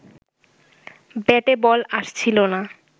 ব্যাটে বল আসছিল না